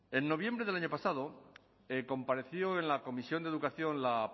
en noviembre del año pasado compareció en la comisión de educación la